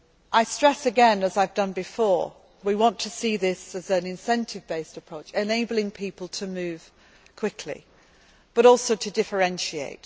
Council. I stress again, as I have done before, we want to see this as an incentive based approach enabling people to move quickly, but also to